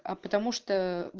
а потому что